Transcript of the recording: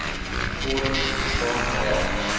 forums bestaan waar